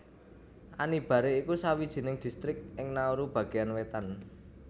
Anibare iku sawijining distrik ing Nauru bagéan wétan